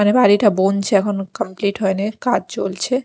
এখানে বাড়িটা বুনছে এখনও কমপ্লিট হয় নি কাজ চলছে।